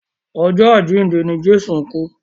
Ọjọ́ àjíǹde ni Jésù kú.